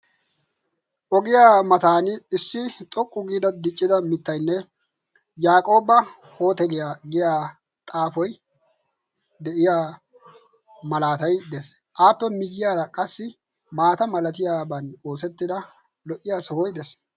Ogiyaa matan issi xoqqu giida diccida mittainne yaaqooba hooteliyaa giya xaafoy de'iya malaatai de'ees. aappe miyyaara qassi maata malatiyaaban oosettida lo"iya sohoy de'es.